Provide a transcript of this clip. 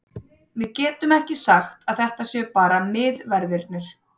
Við getum ekki sagt að þetta séu bara miðverðirnir.